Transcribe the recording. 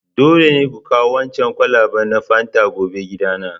Dole ne ku kawo waɗancan kwalabe na fanta gobe gidana!